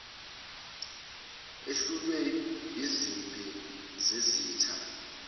ehlulwe ezimpini zezitha